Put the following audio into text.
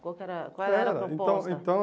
Qual que era Qual era a proposta? Então então